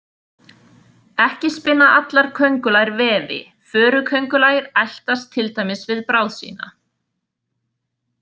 Ekki spinna allar köngulær vefi, föruköngulær eltast til dæmis við bráð sína.